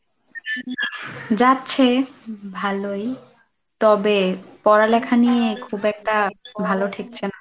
যাচ্ছে ভালোই তবে পড়ালেখা নিয়ে খুব একটা ভালো ঠেকছে না।